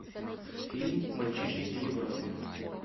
фильм мальчишник в европе